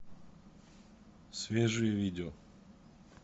свежие видео